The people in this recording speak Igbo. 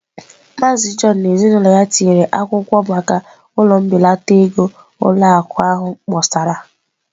Maazị John na ezinụlọ ya tinyere akwụkwọ maka ụlọ mbelata ego ụlọ akụ ahụ kpọsara.